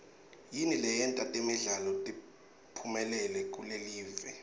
yini leyenta temidlalo tiphumelele kulelive